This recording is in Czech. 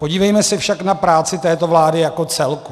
Podívejme se však na práci této vlády jako celku.